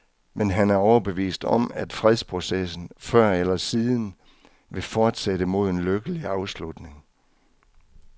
Men han er overbevist om, at fredsprocessen, før eller siden, vil fortsætte mod en lykkelig afslutning.